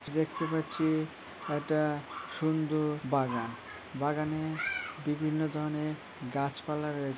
দেখতে পাচ্ছি এটা সুন্দর বাগান। বাগানে বিভিন্ন ধরনের গাছপালা রয়েছ--